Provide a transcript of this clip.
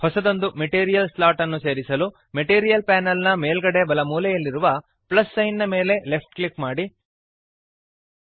ಹೊಸದೊಂದು material slot ಅನ್ನು ಸೇರಿಸಲು ಮೆಟೀರಿಯಲ್ ಪ್ಯಾನಲ್ ನ ಮೇಲ್ಗಡೆ ಬಲಮೂಲೆಯಲ್ಲಿರುವ ಪ್ಲಸ್ ಸೈನ್ ನ ಮೇಲೆ ಲೆಫ್ಟ್ ಕ್ಲಿಕ್ ಮಾಡಿರಿ